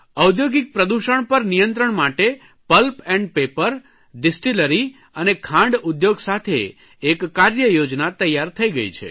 ઔદ્યોગિક પ્રદૂષણ પર નિયંત્રણ માટે પલ્પ એન્ડ પેપર ડીસ્ટીલરી અને ખાંડ ઉદ્યોગ સાથે એક કાર્યયોજના તૈયાર થઇ ગઇ છે